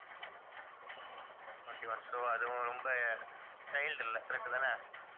twenty-one so அதுவும் ரொம்ப child இல்லை correct தானே